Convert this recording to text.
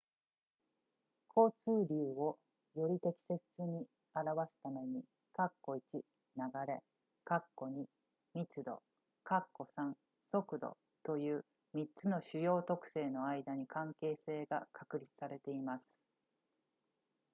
交通流をより適切に表すために、1流れ、2密度、3速度という3つの主要特性の間に関係性が確立されています